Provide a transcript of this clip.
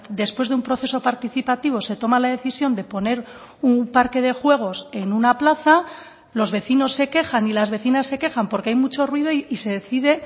después de un proceso participativo se toma la decisión de poner un parque de juegos en una plaza los vecinos se quejan y las vecinas se quejan porque hay mucho ruido y se decide